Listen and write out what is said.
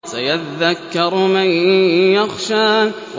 سَيَذَّكَّرُ مَن يَخْشَىٰ